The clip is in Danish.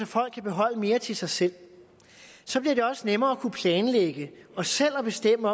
folk kan beholde mere til sig selv så bliver det også nemmere at kunne planlægge og selv at bestemme